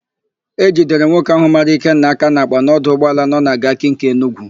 E jidere nwoke ahụ mara Ikenna aka n'àkpà n'ọdụ ụgbọala nọ na Gariki nke Enugwu.